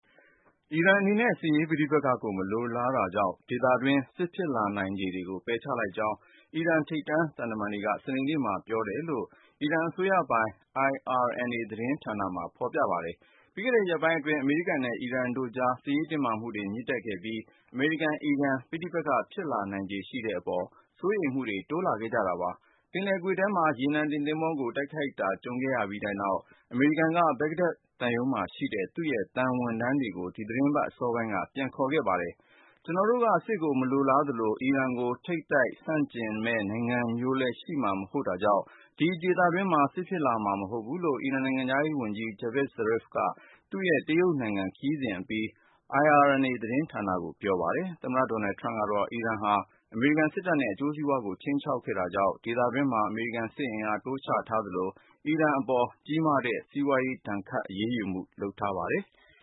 အီရန်အနေနဲ့ စစ်ရေးပဋိပက္ခကို မလိုလားတာကြောင့် ဒေသတွင်း စစ်ဖြစ်လာနိုင်ချေတွေကို ပယ်ချလိုက်ကြောင်း အီရန် ထိပ်တန်းသံတမန် တွေက စနေနေ့မှာ ပြောတယ်လို့ အစိုးရပိုင် IRNA သတင်းမှာဖေါ်ပြပါတယ်။ ပြီးခဲ့တဲ့ ရက်ပိုင်းအတွင်း အမေရိကန်နဲ့ အီရန်တို့ကြား စစ်ရေးတင်းမာမှုတွေ မြင့်တက်ခဲ့ပြီး အမေရိကန်-အီရန် ပဋိပက္ခဖြစ်လာနိုင်ချေရှိတဲ့ အပေါ် စိုးရိမ်မှုတွေ တိုးလာခဲ့ကြတာပါ။ ပင်လယ်ကွေ့ထဲက ရေနံတင်သင်္ဘောကို တိုက်ခိုက်တာ ကြုံခဲ့ရပြီးနောက် အမေရိကန်က Baghdad သံရုံးမှာရှိတဲ့ သူ့ရဲ့ သံဝန်ထမ်းတွေကို ဒီသီတင်းပတ် အစောပိုင်းက ပြန်ခေါ်ခဲ့ပါတယ်။ ကျနော်တို့က စစ်ကို မလိုလားသလို၊ အီရန်ကို ထိပ်တိုက်ဆန့်ကျင်မယ့် နိုင်ငံမျိုးလည်း ရှိမှာ မဟုတ်တာကြောင့် ဒီဒေသတွင်းမှာ စစ်ဖြစ်လာမှာ မဟုတ်ဘူးလို့ အီရန်နိုင်ငံခြားရေးဝန်ကြီး Javad Zarif က သူ့ရဲ့ တရုတ်နိုင်ငံ ခရီးစဉ်အပြီး IRNA သတင်းဌာနကို ပြောပါတယ်။ သမ္မတ ဒေါ်နယ်ထရမ့်ကတော့ အီရန်ဟာ အမေရိကန် စစ်တပ်နဲ့ အကျိုးစီးပွားတွေကို ခြိမ်းခြောက်ခဲ့တာကြောင့် ဒေသတွင်းမှာ အမေရိကန် စစ်အင်အား တိုးချထားသလို၊ အီရန်အပေါ် ကြီးမားတဲ့ စီးပွားရေး ဒဏ်ခတ်အရေးယူမှုတွေ လုပ်ထားပါတယ်။